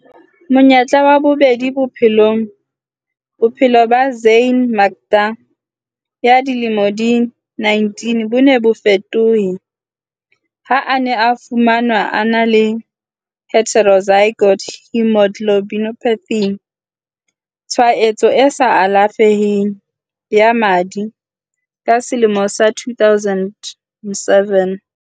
Monyetla wa bobedi bophelongBophelo ba Zyaan Makda ya dilemo di 19 bo ne bo fetohe ha a ne a fumanwa a na le heterozygote haemoglobinopathy, tshwaetso e sa alafeheng ya madi ka selemo sa 2007.